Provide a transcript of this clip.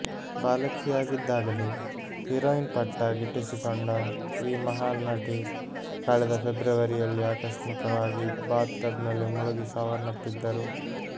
ಬಾಲಕಿಯಾಗಿದ್ದಾಗಲೇ heroine ಪಟ್ಟ ಗಿಟ್ಟಿಸಿಕೊಂಡ ಈ ಮಹಾನ್ ನಟಿ ಕಳೆದ ಪೆಬ್ರವರಿಯಲ್ಲಿ ಆಕಸ್ಮಿಕವಾಗಿ ಬಾತ್ ಟಬ್ ನಲ್ಲಿ ಮುಳುಗಿ ಸಾವನಪ್ಪಿದರು